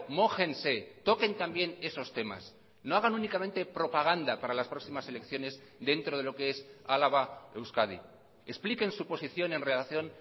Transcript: mójense toquen también esos temas no hagan únicamente propaganda para las próximas elecciones dentro de lo que es álava euskadi expliquen su posición en relación